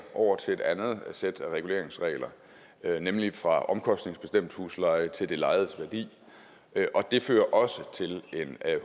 over til et andet sæt af reguleringsregler nemlig fra omkostningsbestemt husleje til det lejedes værdi og det fører også til en